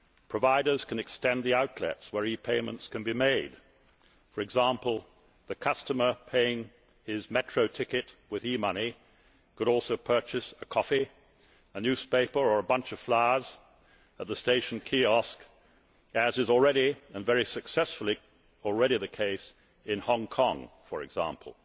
Providers can extend the outlets where e payments can be made, for example the customer paying for his metro ticket with e money could also purchase a coffee, a newspaper or a bunch of flowers at the station kiosk, as is already and very successfully the case in Hong Kong, for example.